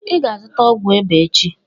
"Ị ga azuta ọgwu ịba echi.